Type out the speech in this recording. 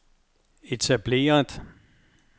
etableret